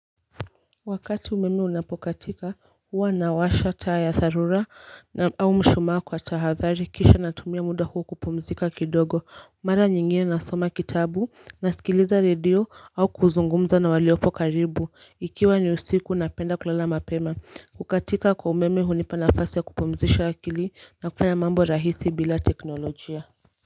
Wakati umeme unapokatika, huwa nawasha taa ya dharura au mshumaa kwa tahadhari kisha natumia muda huo kupumzika kidogo. Mara nyingine nasoma kitabu, nasikiliza radio au kuzungumza na waliopo karibu. Ikiwa ni usiku napenda kulala mapema. Kukatika kwa umeme hunipa nafasi ya kupumzisha akili na kufanya mambo rahisi bila teknolojia.